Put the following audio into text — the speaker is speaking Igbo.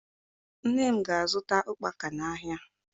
Nne m ga-azụta ụkpaka n'ahịa